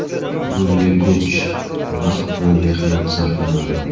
Bunga kuch, vaqt va mehnat sarflanadi.